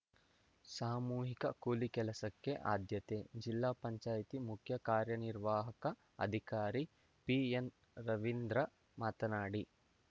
ಸಾಮೂಹಿಕ ಕೂಲಿ ಕೆಲಸಕ್ಕೆ ಆದ್ಯತೆ ಜಿಲ್ಲಾ ಪಂಚಾಯಿತಿ ಮುಖ್ಯ ಕಾರ್ಯನಿರ್ವಾಹಕ ಅಧಿಕಾರಿ ಪಿಎನ್‌ ರವೀಂದ್ರ ಮಾತನಾಡಿ